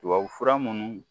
Tubabu fura munnu